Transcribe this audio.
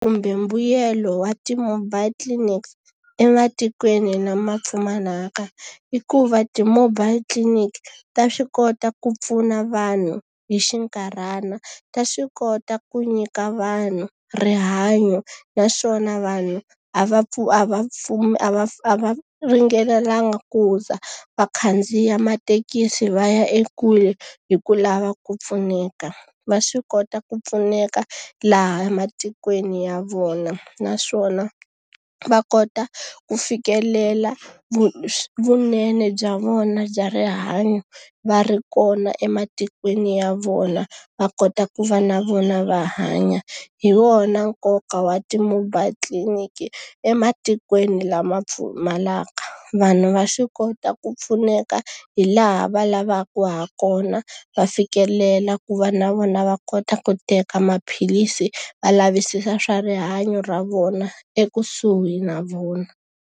Kumbe mbuyelo wa ti-mobile clinic ematikweni lama pfumalaka i ku va ti-mobile clinic ta swi kota ku pfuna vanhu hi xinkarhana. Ta swi kota ku nyika vanhu rihanyo, naswona vanhu a va a va a va a va ringanelangi ku za va khandziya mathekisi va ya ekule hi ku lava ku pfuneka. Va swi kota ku pfuneka laha ematikweni ya vona. Naswona va kota ku fikelela vunene bya vona bya rihanyo va ri kona ematikweni ya vona, va kota ku va na vona va hanya. Hi wona nkoka wa ti-mobile clinic ematikweni lama pfumalaka. Vanhu va swi kota ku pfuneka hi laha va lavaka ha kona, va fikelela ku va na vona va kota ku teka maphilisi va lavisisa swa rihanyo ra vona ekusuhi na vona.